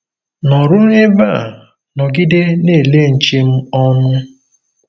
Nọ̀rụ̀ n’ebè a, nọ̀gidé nà-èlé nche m ònụ̀.